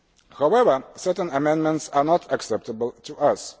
However, certain amendments are not acceptable to us.